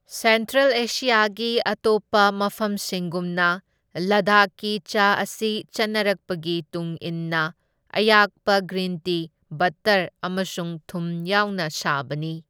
Central ꯑꯦꯁꯤꯌꯥꯒꯤ ꯑꯇꯣꯞꯄ ꯃꯐꯝꯁꯤꯡꯒꯨꯝꯅ, ꯂꯗꯥꯈꯀꯤ ꯆꯥ ꯑꯁꯤ ꯆꯠꯅꯔꯛꯄꯒꯤ ꯇꯨꯡ ꯏꯟꯅ ꯑꯌꯥꯛꯄ ꯒ꯭ꯔꯤꯟ ꯇꯤ, ꯕꯠꯇꯔ ꯑꯃꯁꯨꯡ ꯊꯨꯝ ꯌꯥꯎꯅ ꯁꯥꯕꯅꯤ꯫